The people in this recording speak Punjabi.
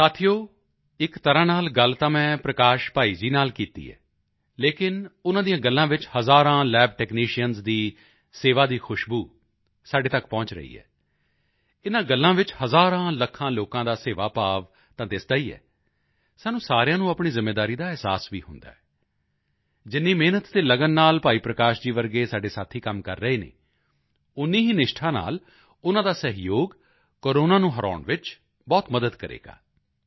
ਸਾਥੀਓ ਇੱਕ ਤਰ੍ਹਾਂ ਨਾਲ ਗੱਲ ਤਾਂ ਮੈਂ ਪ੍ਰਕਾਸ਼ ਭਾਈ ਜੀ ਨਾਲ ਕੀਤੀ ਹੈ ਲੇਕਿਨ ਉਨ੍ਹਾਂ ਦੀਆਂ ਗੱਲਾਂ ਵਿੱਚ ਹਜ਼ਾਰਾਂ ਲੱਬ ਟੈਕਨੀਸ਼ੀਅਨਜ਼ ਦੀ ਸੇਵਾ ਦੀ ਖੁਸ਼ਬੂ ਸਾਡੇ ਤੱਕ ਪਹੁੰਚ ਰਹੀ ਹੈ ਇਨ੍ਹਾਂ ਗੱਲਾਂ ਵਿੱਚ ਹਜ਼ਾਰਾਂਲੱਖਾਂ ਲੋਕਾਂ ਦਾ ਸੇਵਾ ਭਾਵ ਤਾਂ ਦਿਸਦਾ ਹੀ ਹੈ ਸਾਨੂੰ ਸਾਰਿਆਂ ਨੂੰ ਆਪਣੀ ਜ਼ਿੰਮੇਵਾਰੀ ਦਾ ਅਹਿਸਾਸ ਵੀ ਹੁੰਦਾ ਹੈ ਜਿੰਨੀ ਮਿਹਨਤ ਅਤੇ ਲਗਨ ਨਾਲ ਭਾਈ ਪ੍ਰਕਾਸ਼ ਜੀ ਵਰਗੇ ਸਾਡੇ ਸਾਥੀ ਕੰਮ ਕਰ ਰਹੇ ਹਨ ਓਨੀ ਹੀ ਨਿਸ਼ਠਾ ਨਾਲ ਉਨ੍ਹਾਂ ਦਾ ਸਹਿਯੋਗ ਕੋਰੋਨਾ ਨੂੰ ਹਰਾਉਣ ਵਿੱਚ ਬਹੁਤ ਮਦਦ ਕਰੇਗਾ